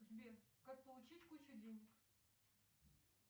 сбер как получить кучу денег